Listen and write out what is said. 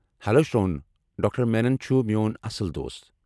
Hello, Shravan! Doctor Menon چُھ میون اصل دوس ۔